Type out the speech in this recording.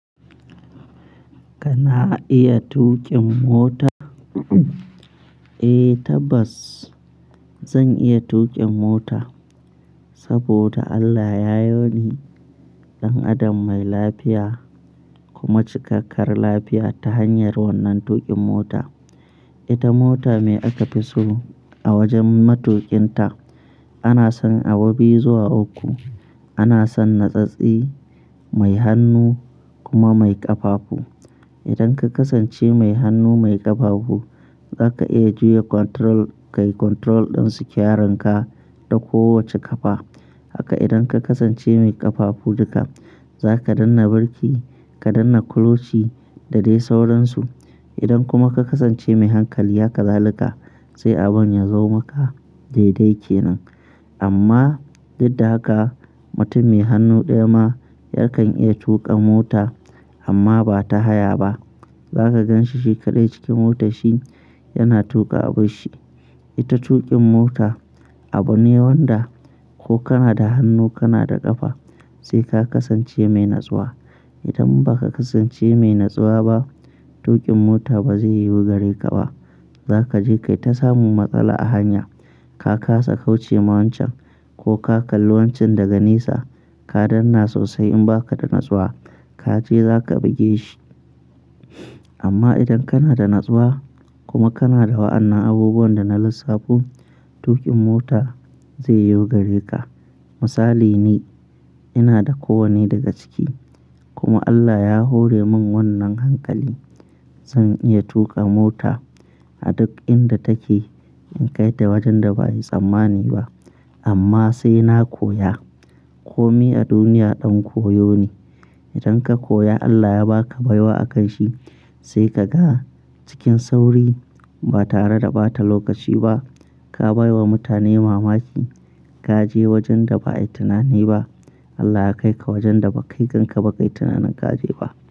Kana iya tuƙin mota? Eh tabbas, zan iya tuƙin mota saboda Allah ya yo ni dan adam mai lafiya kuma cikakkar lafiya ta hanyar wannan tuƙin mota. Ita mota me aka fi so a wajen matuƙinta ana san abu biyu zuwa uku, ana san natsatse, mai hannu kuma mai ƙafafu. Idan ka kasance mai hannu mai ƙafafu, zaka iya juya control kai control ɗin steering ka da kowacce ƙafa. Haka idan ka kasance mai ƙafafu duka, za ka danna birki ka danna clutch da dai sauransu. Idan kuma ka kasance mai hankali, haka zalika sai abun ya zo maka dai-dai kenan. Amma dukda haka, mutum mai hannu ɗaya ma yakan iya tuƙa mota amma ba ta haya ba. Zaka gan shi shekadai cikin motar shi yana tuƙa abun shi. Ita tuƙin mota abu ne wanda ko kana da hannu kana da ƙafa sai ka kasance mai natsuwa. Idan ba ka kasance mai natsuwa ba, tuƙin mota ba zai yiwu gare ka ba. Zaka je kai ta samu matsala a hanya, ka kasa kauce ma wancan ko ka kalli wancan daga nesa, ka danna sosai in ba ka da natsuwa, ka je za ka ɓige shi. Amma idan kana da natsuwa kuma kana da wa'annan abubuwan da na lissafo, tuƙin mota zai yiwu gare ka. Misali ni, ina da kowane daga ciki kuma Allah ya hore min wannan hankali. Zan iya tuƙa mota a duk inda take, in kai ta wajen da ba'a yi tsammani ba. Amma sai na koya. Komi a duniya ɗan koyo ne. Idan ka koya Allah ya ba ka baiwa a kan shi sai ka ga cikin sauri ba tare da ɓata lokaci ba ka bai wa mutane mamaki. Ka je wajen da ba a yi tunani ba. Allah ya kai ka wajen da ba kai kanka ba, kai tunanin ka je ba.